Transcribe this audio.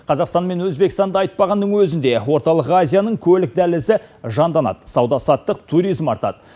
қазақстан мен өзбекстанды айтпағанның өзінде орталық азияның көлік дәлізі жанданады сауда саттық туризм артады